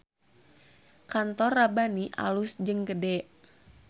Kantor Rabbani alus jeung gede